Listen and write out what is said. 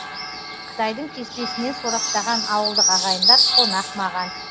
қытайдың кеспесінен сораптаған ауылдық ағайындар қонақ маған